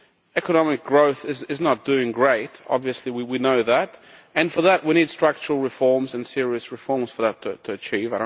Economic growth is not doing great obviously we know that and for that we need structural reforms and serious reforms for that to be achieved.